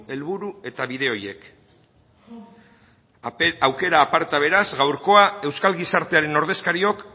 helburu eta bide horiek aukera aparta beraz gaurkoa euskal gizartearen ordezkariok